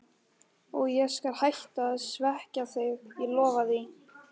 Og ég skal hætta að svekkja þig, ég lofa því.